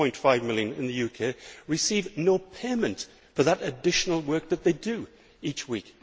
3.5 million in the UK receive no payment for that additional work they do each week.